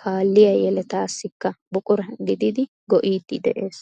kaalliyaa yeelatasikka buqura gidiidi go"iidi de'ees.